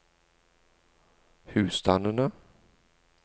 husstandene